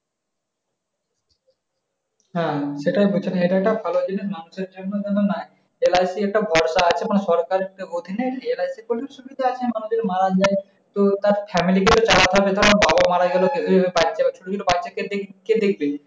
হ্যাঁ সেটাই বলছেন এটা একটা ভালো জিনিস মানুষের জন্য। LIC একটা ভরসা আছে। মানে সরকারের অধীনে LIC করলে সুবিধা আছে। মানুষ যদি মারা যায়, তো তার family কে চালাতে হবে। যেমন বাবা মারাগেল বাচ্চা আছে। সেই বাচ্চাগুলোকে কে দেখবে?